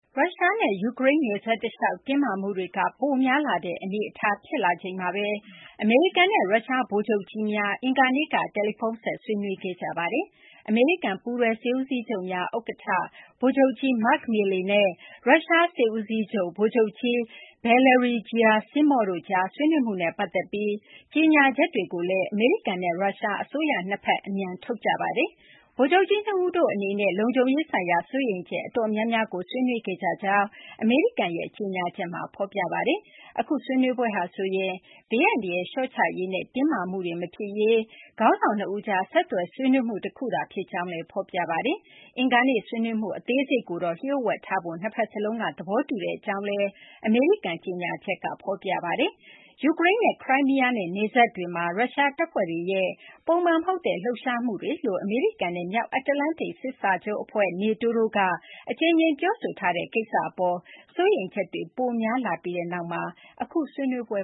ရုရှားနဲ့ ယူကရိန်း နယ်စပ်တလျှောက် တင်းမာမှုတွေက ပိုများလာတဲ့ အနေအထား ဖြစ်လာချိန်မှာဘဲ အမေရိကန်နဲ့ ရုရှား ဗိုလ်ချုပ်ကြီးများ အင်္ဂါနေ့က တယ်လီဖုန်းဆက် ဆွေးနွေးခဲ့ကြပါတယ်။ အမေရိကန် ပူးတွဲ စစ်ဦးစီးချုပ်များ ဥက္ကဌ ဗိုလ်ချုပ်ကြီး Mark Milley နဲ့ ရုရှား စစ်ဦးစီးချုပ် ဗိုလ်ချုပ်ကြီး Valery Gerasimov တို့ကြား ဆွေးနွေးမှုနဲ့ ပတ်သက်ပြီး ကြေညာချက်တွေကို အမေရိကန်နဲ့ ရုရှား အစိုးရ နှစ်ဘက်စလုံးက အမြန် ထုတ်ခဲ့ကြပါတယ်။ ဗိုလ်ချုပ်ကြီး ၂ ဦးတို့ အနေနဲ့ လုံခြုံရေးဆိုင်ရာ စိုးရိမ်ချက် အတော်များများကို ဆွေးနွေးခဲ့ကြကြောင်း အမေရိကန်ရဲ့ ကြေညာချက်က ဖော်ပြပါတယ်။ အခု ဆွေးနွေးပွဲဟာဆိုရင်လည်း ဘေးအန္တရာယ် လျှော့ချရေးနဲ့ တင်းမာမှုတွေ မဖြစ်ရေး ခေါင်းဆောင် ၂ ဦးကြား ဆက်သွယ် ဆွေးနွေးမှု တခုသာ ဖြစ်ကြောင်းလည်း ဖော်ပြပါတယ်။ အင်္ဂါနေ့ ဆွေးနွေးမှု အသေးစိတ်ကိုတော့ လျို့ဝှက်ထားဖို့ နှစ်ဘက် စလုံးက သဘောတူကြောင်းလည်း အမေရိကန် ကြေညာချက်မှာ ဖော်ပြပါတယ်။ ယူကရိန်းနဲ့ ခရိုင်းမီးယားနဲ့ နယ်စပ်တွေမှာ ရုရှား တပ်ဖွဲ့တွေရဲ့ ပုံမှန် မဟုတ်တဲ့ လှုပ်ရှားမှုလို့ အမေရိကန်နဲ့ မြောက်အတ္တလန္တိတ် စာချုပ် အဖွဲ့ NATO တို့က အကြိမ်ကြိမ် ပြောဆိုထားတဲ့ ကိစ္စ အပေါ် စိုးရိမ်ချက်တွေ ပိုများလာပြီးနောက်မှာ အခု ဆွေးနွေးပွဲ